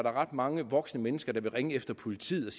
ret mange voksne mennesker der vil ringe efter politiet